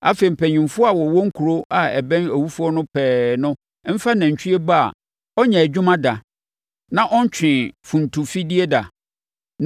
Afei, mpanimfoɔ a wɔwɔ kuro a ɛbɛn owufoɔ no pɛɛ no mfa nantwie ba a ɔnyɛɛ adwuma da na ɔntwee funtumfidie da,